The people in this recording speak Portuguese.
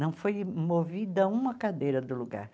Não foi movida uma cadeira do lugar.